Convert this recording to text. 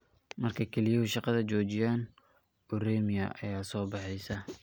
Marka kelyuhu shaqada joojiyaan, uremia ayaa soo baxaysa.